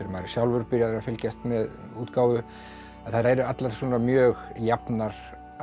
maður er sjálfur byrjaður að fylgjast með útgáfu þær eru allar svona mjög jafnar að